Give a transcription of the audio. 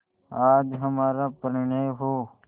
आज हमारा परिणय हो